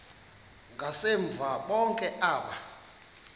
ngasemva bonke aba